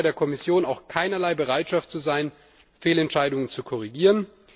Es scheint bei der Kommission auch keinerlei Bereitschaft zu bestehen, Fehlentscheidungen zu korrigieren.